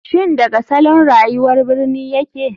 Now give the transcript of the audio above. Shin daga salon rayuwar birni yake?